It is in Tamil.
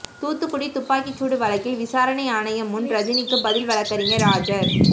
தூத்துக்குடி துப்பாக்கிச்சூடு வழக்கில் விசாரணை ஆணையம் முன் ரஜினிக்கு பதில் வழக்கறிஞர் ஆஜர்